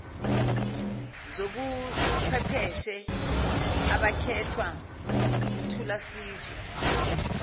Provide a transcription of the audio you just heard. zobuchwepheshe abakhethwa nguthulasizwe